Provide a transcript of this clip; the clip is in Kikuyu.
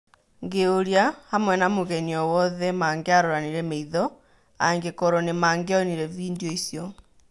Ngĩyũria, hamwe na mũgeni o-wothe mangĩaroranire maitho, angĩkorwo nĩmangĩonire vindioicio.